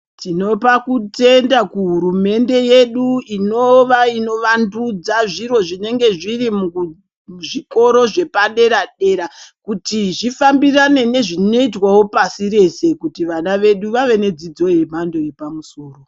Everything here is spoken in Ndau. Tinoda kutenda kuhurumende yedu Inova inovandudza zviro zvinenge zviri muzvikoro zvepadera dera kuti zvifambirane nezvinoitwa pasi rese kuti vana vedu vave nedzidzo yemhando yepamusoro.